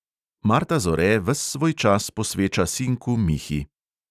Marta zore ves svoj čas posveča sinku mihi.